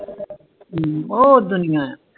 ਓ ਦਿਨ ਨਹੀਂ ਆ